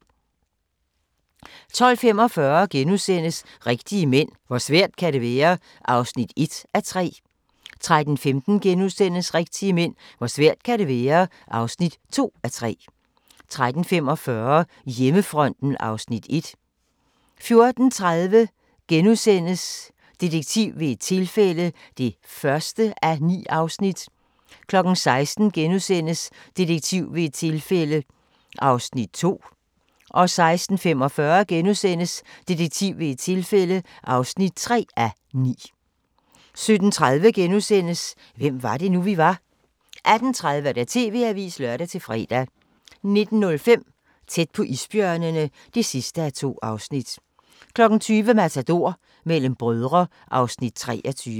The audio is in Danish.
12:45: Rigtige mænd - hvor svært kan det være? (1:3)* 13:15: Rigtige mænd - hvor svært kan det være? (2:3)* 13:45: Hjemmefronten (Afs. 1) 14:30: Detektiv ved et tilfælde (1:9)* 16:00: Detektiv ved et tilfælde (2:9)* 16:45: Detektiv ved et tilfælde (3:9)* 17:30: Hvem var det nu, vi var? * 18:30: TV-avisen (lør-fre) 19:05: Tæt på isbjørnene (2:2) 20:00: Matador - mellem brødre (Afs. 23)